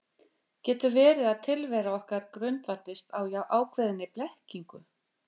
Getur verið að tilvera okkar grundvallist á ákveðinni blekkingu?